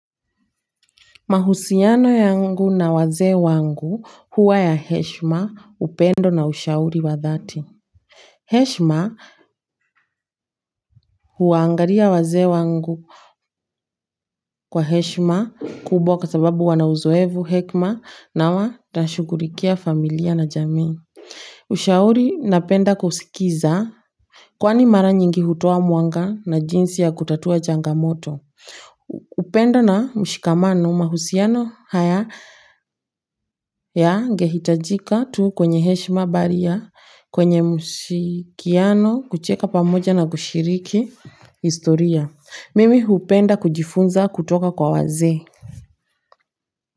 Mahusiano yangu na wazee wangu huwa ya heshma upendo na ushauri wa dhati. Heshma huwaangalia wazee wangu kwa heshma kubwa kwa sababu wana uzoefu hekima na watashughulikia familia na jamii. Ushauri napenda kusikiza. Kwani mara nyingi hutoa mwanga na jinsi ya kutatua changamoto? Upendo na mshikamano mahusiano haya ya ngehitajika tu kwenye heshima bali ya kwenye msikiano kucheka pamoja na kushiriki historia mimi hupenda kujifunza kutoka kwa wazee.